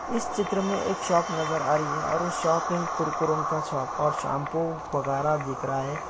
इस चित्र में एक शॉप नज़र आ रही है और शॉप में एक कुरकुरों का शॉप और शाम्पू वगेरा दिख रहा है।